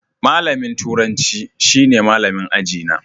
Malamin turanci shine malamin aji na.